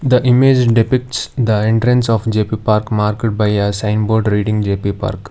The image depicts the entrance of J_P park marked by a signboard reading J_P park.